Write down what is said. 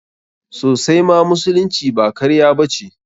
Sosaima, musulunci ba karya ba ce.